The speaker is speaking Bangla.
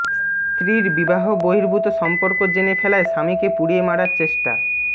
স্ত্রীর বিবাহ বহির্ভূত সম্পর্ক জেনে ফেলায় স্বামীকে পুড়িয়ে মারার চেষ্টা